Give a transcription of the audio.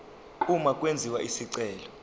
uma kwenziwa isicelo